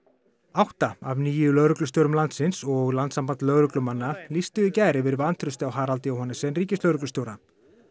átta af níu lögreglustjórum landsins og Landssamband lögreglumanna lýstu í gær yfir vantrausti á Harald Johannessen ríkislögreglustjóra